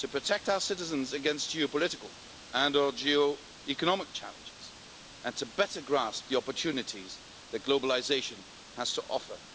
to protect our citizens against geopolitical and or geoeconomic challenges, and to better grasp the opportunities that globalisation has to offer.